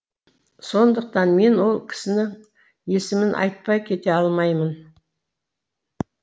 сондықтан мен ол кісінің есімін айтпай кете алмаймын